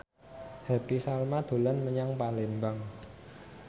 Happy Salma dolan menyang Palembang